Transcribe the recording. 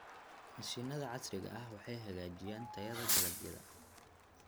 Mashiinnada casriga ah waxay hagaajiyaan tayada dalagyada.